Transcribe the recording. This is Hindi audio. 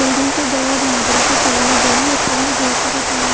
बिल्डिंग की दो और नारियल के पेड़ लगे हुए हैं इन सब में ढेर सारे झाड़ --